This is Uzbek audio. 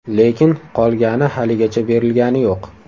Lekin qolgani haligacha berilgani yo‘q.